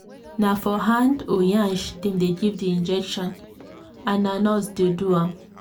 na for hand or yansh dem dey give the injection and na nurse dey do am.